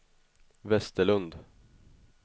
Westerlund